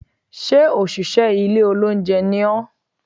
Sé òṣìṣẹ́ ilé olóúnjẹ ni ọ́?